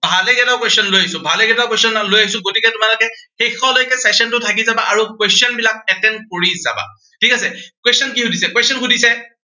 ভালে কেইটো question লৈ আহিছো, ভালে কেইটা question লৈ আহিছো. গতিকে তোমালোকে শেষলৈকে session টোৰ থাকি যাবা আৰু question বিলাক attempt কৰি যাবা। ঠিক আছে, question কি সুধিছে, question সুধিছে